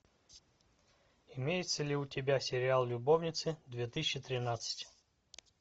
имеется ли у тебя сериал любовницы две тысячи тринадцать